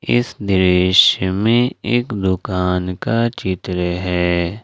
इस दृश्य में एक दुकान का चित्र है।